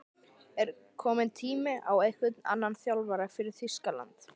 Er kominn tími á einhvern annan þjálfara fyrir Þýskaland?